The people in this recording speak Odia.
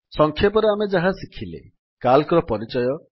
ସଂକ୍ଷେପରେ ଆମେ ଯାହା ଶିଖିଲେ ସିଏଏଲସି ର ପରିଚୟ